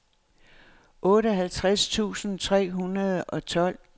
otteoghalvtreds tusind tre hundrede og tolv